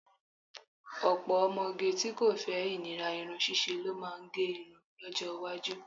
Ọ̀pọ̀ ọmọge tí kò fẹ́ ìnira irun ṣíṣe lo má máa gẹrun lọ́jọ́ iwájú